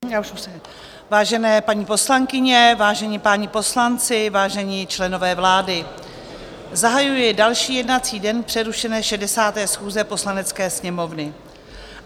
Vážené paní poslankyně, vážení páni poslanci, vážení členové vlády, zahajuji další jednací den přerušené 60. schůze Poslanecké sněmovny.